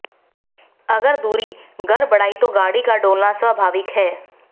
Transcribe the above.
अगर धुरी गड़बड़ाई तो गाड़ी का डोलना स्वाभाविक है